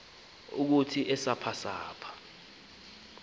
ukuthi esaph esaph